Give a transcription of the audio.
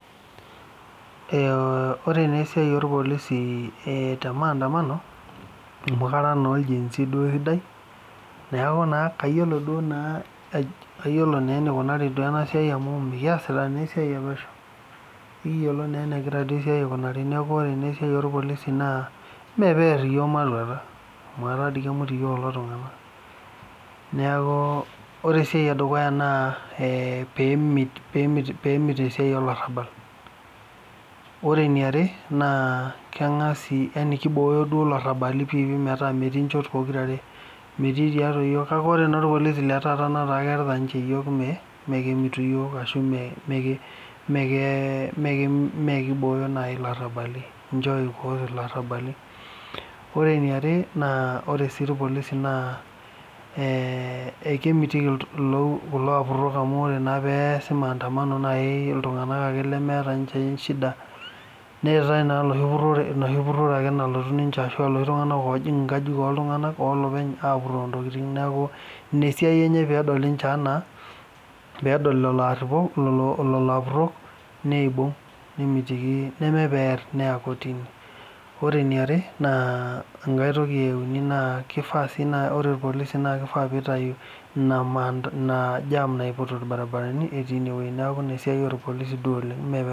Ore naa esiai olpolisi te maandamano noshi kata naa oljenzi sidai, neaku naa kayolo duo naa, kayolo naa eneikunari duo ena siai amu mikiasiata naa esiai elosho, ekiyolo naa enegira duo esiai aikunari naaku ore naa esiai olpolisi naa mee peear yook mailurata, amu eta dei kemut yook kulo tungana, neaku ore esiai edukuya naa peemit esiai olarabal. Ore neare naa kengas yaani keibooyo duo larabali piipi nmeta metii inchot pokira aare, metii tiatua yook kake ore naa ilpolisi le taata netaa kerita ninche yook, mee kemitu yook ashu mee keibooyo nai illarabali, ninche oikooki illarabali. Ore neare naa ore sii ilpolisi naa ekemitiki kulo lapurok amu kore naa peyasi maandamano naaii ltunganak ake lemeeta ninche inchida, neatae naa lochi purore ake nalotu ninche ashu loshi tunganak loojing' inkajijik loltungana, oloopeny apuroo ntokitin, naaku ina siai enye peedol ninche enaa peedol lelo aapurok, lelo apurok neibung' nemitiki, nemee pear, neya [cs[kotini, ore eneare naa enkae toki euni naa keifaa sii naa ore ilpolisi naa keifaa peitayu ina jaam naiput ilbaribarani etii ineweji, naaku ina siai oolpolisi duo oleng/